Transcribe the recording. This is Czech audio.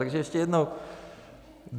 Takže ještě jednou.